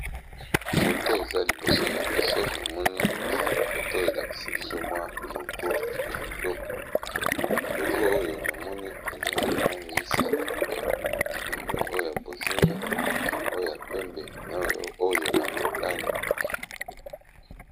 Foto eza liboso na biso namoni foto elakisi biso mwa logo ya kitoko logo oyo namoni eza na balangi misato na moni oyo ya bozinga oya pembe naoyo ya motane.